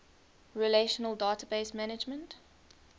relational database management